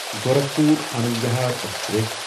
Gorakhpur Anand Vihar express